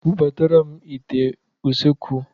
Bubatara m ìtè n'usekwu!